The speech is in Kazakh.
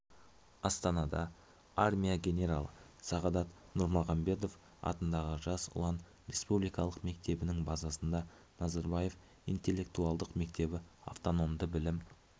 астанада армия генералы сағадат нұрмағамбетов атындағы жас ұлан республикалық мектебінің базасында назарбаев интеллектуалдық мектебі автономды білім